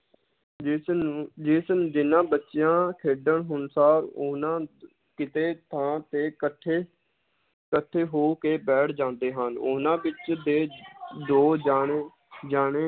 ਜਿਸ ਨੂੰ ਜਿਸ ਜਿੰਨਾਂ ਬੱਚਿਆਂ ਖੇਡਣ ਅਨੁਸਾਰ ਉਹਨਾਂ ਕਿਤੇ ਥਾਂ ਤੇ ਇਕੱਠੇ, ਇਕੱਠੇ ਹੋ ਕੇ ਬੈਠ ਜਾਂਦੇ ਹਨ ਉਹਨਾਂ ਵਿਚ ਦੇ ਦੋ ਜਾਣੇ ਜਾਣੇ